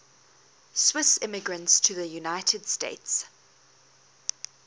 swiss immigrants to the united states